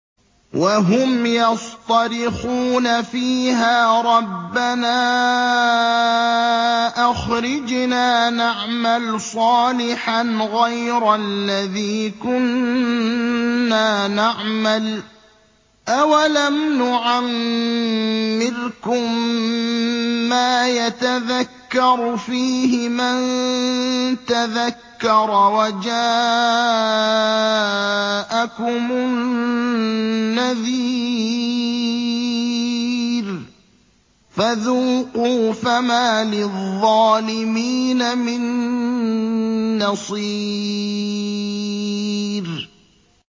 وَهُمْ يَصْطَرِخُونَ فِيهَا رَبَّنَا أَخْرِجْنَا نَعْمَلْ صَالِحًا غَيْرَ الَّذِي كُنَّا نَعْمَلُ ۚ أَوَلَمْ نُعَمِّرْكُم مَّا يَتَذَكَّرُ فِيهِ مَن تَذَكَّرَ وَجَاءَكُمُ النَّذِيرُ ۖ فَذُوقُوا فَمَا لِلظَّالِمِينَ مِن نَّصِيرٍ